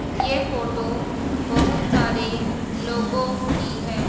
ये फोटो बहोत सारे लोगों की हैं।